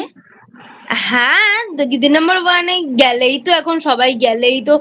হ্যাঁ দিদি Number One এ গেলেইতো এখন সবাই গেলেই তো